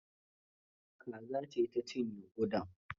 Kaza ce ta cinye kudan.